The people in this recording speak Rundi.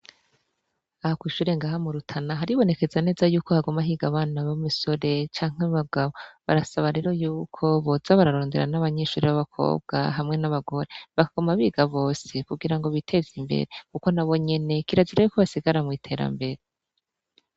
Aha kw'ishure ngaha mu Rutana haribonekeza neza yuko haguma higa abana b'imisore canke abagabo, barasaba rero yuko boza bararondera n'abanyeshure b'abakobwa hamwe n'abagore bakaguma biga bose kugirango biteze imbere, kuko nabo nyene kirazira yuko basigara mw'iterambere.